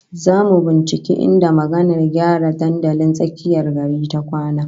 Zamu binciki inda magavar gyara dandalin tsakiyar gari ta kwana